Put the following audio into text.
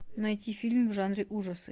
найти фильм в жанре ужасы